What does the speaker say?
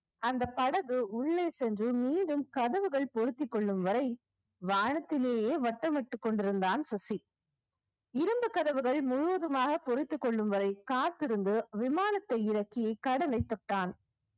அந்த படகு உள்ளே சென்று மீண்டும் கதவுகள் பொருத்திக் கொள்ளும் வரை வானத்திலேயே வட்டமிட்டுக் கொண்டிருந்தான் சுசி இரும்பு கதவுகள் முழுவதுமாக பொறுத்துக் கொள்ளும் வரை காத்திருந்து விமானத்தை இறக்கி கடலைத் தொட்டான்